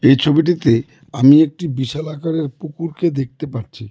এই ছবিটিতে আমি একটি বিশাল আকারের পুকুরকে দেখতে পাচ্ছি.